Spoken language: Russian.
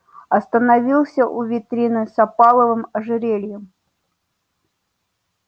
остановился у витрины с опаловым ожерельем